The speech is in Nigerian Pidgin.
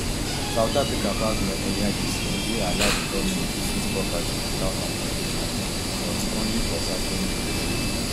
south africa pass law earlier dis year wey allow di goment to seize property witout compensation butonly for certain cases